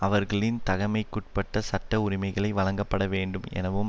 அவர்களின் தகமைக்குட்பட்ட சட்ட உரிமைகளை வழங்கப்படவேண்டும் எனவும்